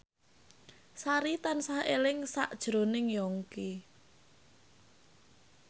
Sari tansah eling sakjroning Yongki